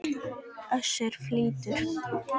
Össur fýldur.